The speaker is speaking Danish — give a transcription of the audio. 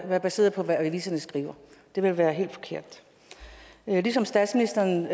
være baseret på hvad aviserne skriver det ville være helt forkert ligesom statsministeren